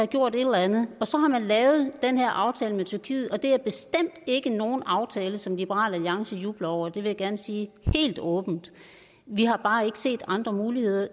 gjort et eller andet så har man lavet den her aftale med tyrkiet og det er bestemt ikke nogen aftale som liberal alliance jubler over det vil jeg gerne sige helt åbent vi har bare ikke set andre muligheder